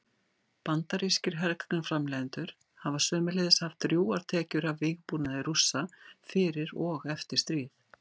Bandarískir hergagnaframleiðendur hafa sömuleiðis haft drjúgar tekjur af vígbúnaði Rússa fyrir og eftir stríð.